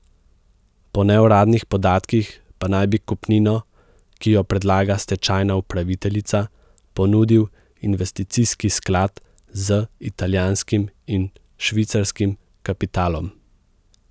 Po neuradnih podatkih pa naj bi kupnino, ki jo predlaga stečajna upraviteljica, ponudil investicijski sklad z italijanskim in švicarskim kapitalom.